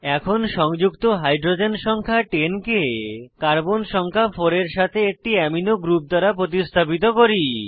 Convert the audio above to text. এখন সংযুক্ত হাইড্রোজেন সংখ্যা 10 কে কার্বন সংখ্যা 4 এর সাথে একটি অ্যামিনো গ্রুপ দ্বারা প্রতিস্থাপিত করি